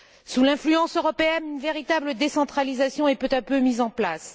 Sous l'influence européenne, une véritable décentralisation est peu à peu mise en place.